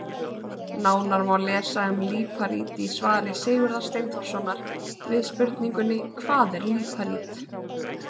Nánar má lesa um líparít í svari Sigurðar Steinþórssonar við spurningunni Hvað er líparít?